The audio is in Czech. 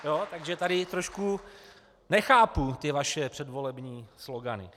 Takže tady trošku nechápu ty vaše předvolební slogany.